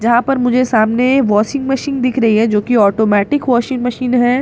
यहां पर मुझे सामने वाशिंग मशीन दिख रही है जो की आटोमेटिक वाशिंग मशीन है पी --